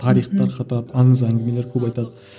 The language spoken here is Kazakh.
тарих тарқатады аңыз әңгімелер көп айтады